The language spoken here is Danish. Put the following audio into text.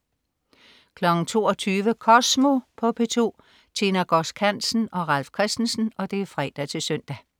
22.00 Kosmo på P2. Tine Godsk Hansen og Ralf Christensen (fre-søn)